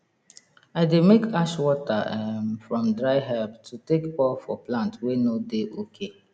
i dey make ash water um from dry herb to take pour for plant wey no dey ok